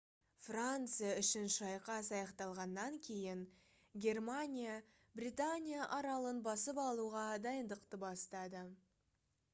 франция үшін шайқас аяқталғаннан кейін германия британия аралын басып алуға дайындықты бастады